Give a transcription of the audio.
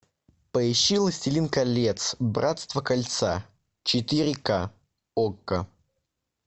поищи властелин колец братство кольца четыре ка окко